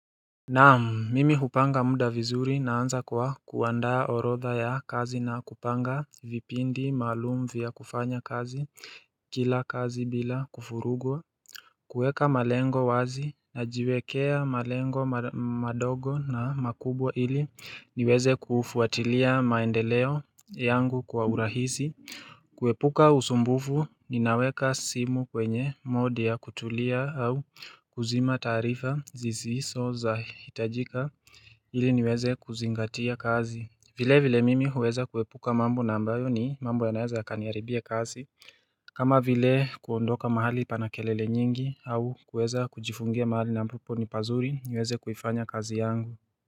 Naam, mimi hupanga muda vizuri naanza kwa kuandaa orotha ya kazi na kupanga vipindi maalum vya kufanya kazi kila kazi bila kuvurugwa kuweka malengo wazi, najiwekea malengo madogo na makubwa ili niweze kufuatilia maendeleo yangu kwa urahisi, kuepuka usumbufu, ninaweka simu kwenye mode ya kutulia au kuzima taarifa zisizo za hitajika ili niweze kuzingatia kazi. Vilevile mimi huweza kuepuka mambo ambayo ni mambo yanaeza yakaniharibia kazi kama vile kuondoka mahali pana kelele nyingi au kuweza kujifungia mahali ambapo ni pazuri niweze kuifanya kazi yangu.